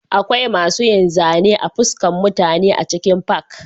Akwai masu yin zane a fuskan mutane a cikin fak